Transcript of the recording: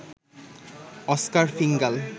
Oscar ফিঙ্গাল